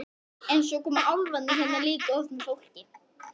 En svo koma álfarnir hérna líka oft með fólki.